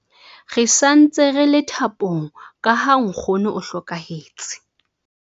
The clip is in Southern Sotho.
Re sa ntse re thapong ka ha nkgono o hlokahetse.